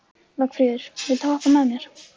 Vagnfríður, viltu hoppa með mér?